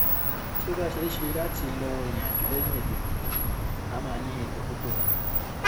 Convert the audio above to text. tí ó bá ṣeé ṣe láti lọ ìrìnàjò lẹyìn ètòìdìbò a máa ní epo tó tó wa